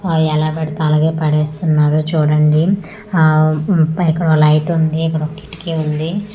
ఆ ఎలపడితే అలాగా పడేస్తున్నారు చూడండి ఆమ్ ఇక్కడ లైట్ ఉంది ఇక్కడ ఒక కిటికీ ఉంది ఇక్కడ ఒక--